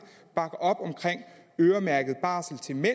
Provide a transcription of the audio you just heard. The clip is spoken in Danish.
bakker øremærket barsel til mænd